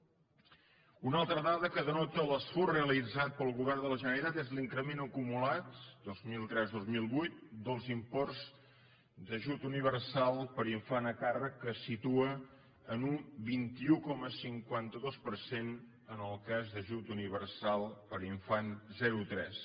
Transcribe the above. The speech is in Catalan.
una altra dada que denota l’esforç realitzat pel govern de la generalitat és l’increment acumulat dos mil tresdos mil vuit dels imports d’ajut universal per infant a càrrec que es situa en un vint un coma cinquanta dos per cent en el cas d’ajut universal per infant zerotres